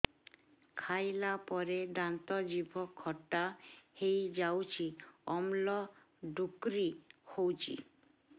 ଖାଇଲା ପରେ ଦାନ୍ତ ଜିଭ ଖଟା ହେଇଯାଉଛି ଅମ୍ଳ ଡ଼ୁକରି ହଉଛି